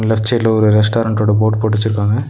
Left சைட்ல ஒரு restaurant ஓட போட் போட்டு வச்சிருக்காங்க.